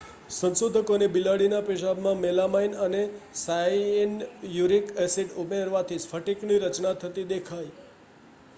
સંશોધકોને બિલાડીના પેશાબમાં મેલામાઇન અને સાયૅન્યુરિક એસિડ ઉમેરવાથી સ્ફટિકની રચના થતી દેખાઈ